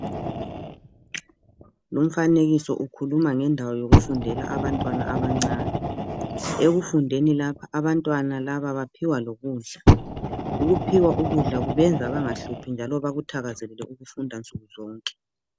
Lumfanekiso ukhuluma ngendawo yokufundela abantwana abancane. Ekufundeni lapha, abantwana laba baphiwa lokudla. Ukuphiwa ukudla, kubenza bangahluphi, njalo bakuthakazelele ukufunda nsuku zonke.